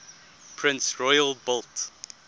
prince royal built